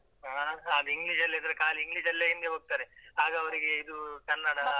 ಹಾ ಆದ್ರೆ English ಲ್ಲಿದ್ರೆ ಖಾಲಿ English ಲ್ಲೇ ಹಿಂದೆ ಹೋಗ್ತಾರೆ, ಆಗ ಅವ್ರಿಗೆ ಇದು ಕನ್ನಡ.